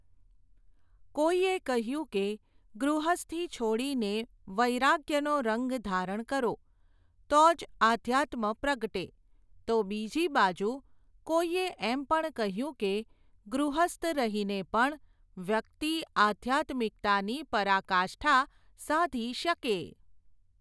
કોઈએ કહ્યું કે, ગૃહસ્થી છોડીને, વૈરાગ્યનો રંગ ધારણ કરો, તો જ અઘ્યાત્મ પ્રગટે, તો બીજી બાજુ, કોઈએ એમ પણ કહ્યું કે, ગૃહસ્થ રહીને પણ, વ્યક્તિ આઘ્યાત્મિકતાની પરાકાષ્ઠા સાધી શકે.